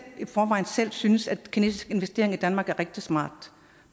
forvejen selv synes at kinesiske investeringer i danmark er rigtig smart